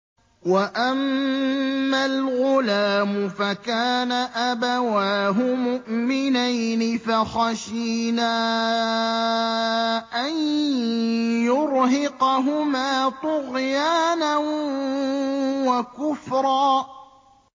وَأَمَّا الْغُلَامُ فَكَانَ أَبَوَاهُ مُؤْمِنَيْنِ فَخَشِينَا أَن يُرْهِقَهُمَا طُغْيَانًا وَكُفْرًا